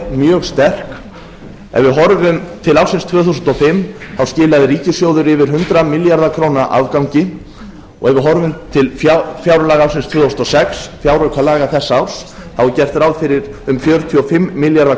mjög sterk ef við horfum til ársins tvö þúsund og fimm skilaði ríkissjóður yfir hundrað milljarða króna afgangi og ef við horfum til fjárlaga ársins tvö þúsund og sex fjáraukalaga þess árs er gert ráð fyrir um fjörutíu og fimm milljarða